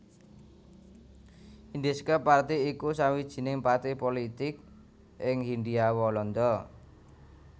Indische Partij iku sawijining partai pulitik ing Hindia Walanda